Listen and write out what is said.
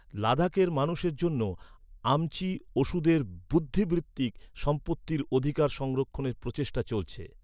লাদাখের মানুষের জন্য আমচি ওষুধের বুদ্ধিবৃত্তিক সম্পত্তির অধিকার সংরক্ষণের প্রচেষ্টা চলছে।